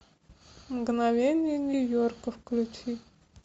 мгновения нью йорка включи